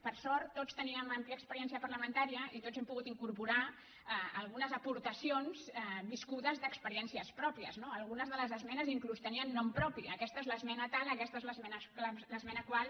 per sort tots teníem àmplia experiència parlamentària i tots hem pogut incorporar algunes aportacions viscudes d’experiències pròpies no algunes de les esmenes inclús tenien nom propi aquesta és l’esmena tal aquesta és l’esmena tal